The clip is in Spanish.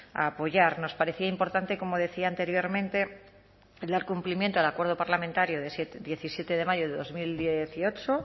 a apoyar nos parecía importante como decía anteriormente el dar cumplimiento al acuerdo parlamentario de diecisiete de mayo de dos mil dieciocho